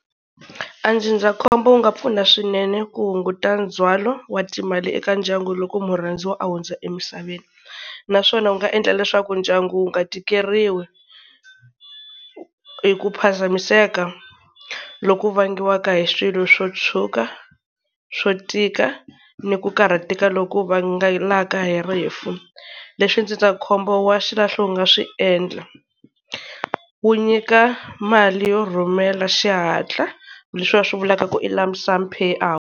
A ndzindzakhombo wu nga pfuna swinene ku hunguta ndzhwalo wa timali eka ndyangu loko murhandziwa a hundza emisaveni. Naswona wu nga endla leswaku ndyangu wu nga tikeriwi hi ku phazamiseka loku vangiwa hi swilo swo tshuka, swo tika, ni ku karhateka loku vangelaka hi rifu. Leswi ndzindzakhombo wa xilahlo wu nga swi endla, wu nyika mali yo rhumela xihatla leswi va swi vulaka ku i lump sum pay out.